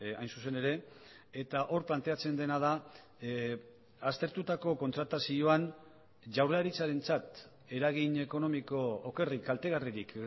hain zuzen ere eta hor planteatzen dena da aztertutako kontratazioan jaurlaritzarentzat eragin ekonomiko okerrik kaltegarririk